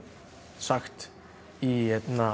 sagt í